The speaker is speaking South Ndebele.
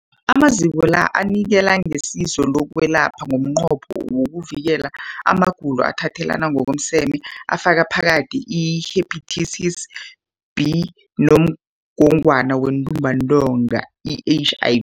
Amaziko la anikela ngesizo lokwelapha ngomnqopho wokuvikela amagulo athathelana ngokomseme afaka phakathi i-Hepatitis B neNgogwana yeNtumbantonga, i-HI